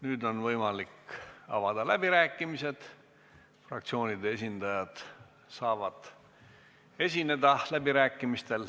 Nüüd on võimalik avada läbirääkimised, fraktsioonide esindajad saavad sõna võtta.